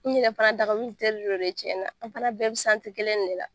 N yɛrɛ fana dagawulu teri de don tiɲɛ na. An fana bɛɛ be kelen de la.